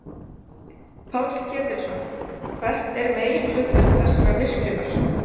Páll Ketilsson: Hvert er meginhlutverk þessara virkjunar?